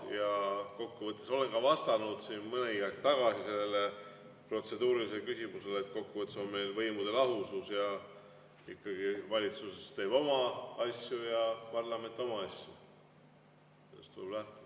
Ja kokkuvõttes olen ka vastanud mõni aeg tagasi sellele protseduurilisele küsimusele, et kokkuvõttes on meil võimude lahusus ja ikkagi valitsus teeb oma asju ja parlament oma asju.